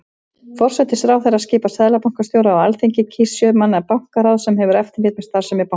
Forsætisráðherra skipar seðlabankastjóra og Alþingi kýs sjö manna bankaráð sem hefur eftirlit með starfsemi bankans.